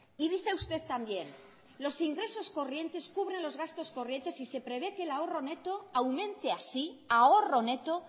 y dice usted también los ingresos corrientes cubren los gastos corrientes y se prevé que el ahorro neto aumente así ahorro neto